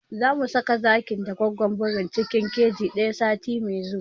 Zamu saka zakin da gwaggon birin cikin keji ɗaya sati mai zuwa